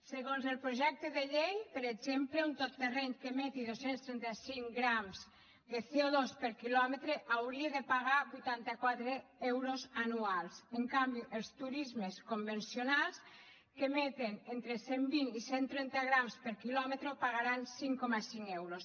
segons el projecte de llei per exemple un tot terreny que emeti dos cents i trenta cinc grams de co84 euros anuals en canvi els turismes convencionals que emeten entre cent i vint i cent i trenta grams per quilòmetre pagaran cinc coma cinc euros